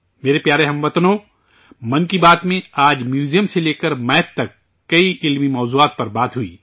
میرے پیارے ہم وطنو، 'من کی بات' میں آج میوزیم سے لے کر میتھ تک کئی علم افروز موضوعات پر باتیں ہوئیں